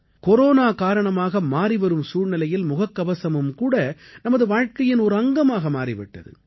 corona காரணமாக மாறிவரும் சூழ்நிலையில் முகக்கவசமும் கூட நமது வாழ்க்கையின் ஒரு அங்கமாக மாறி விட்டது